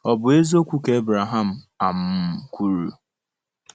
Ọ̀ bụ eziokwu ka Ebraham um kwuru?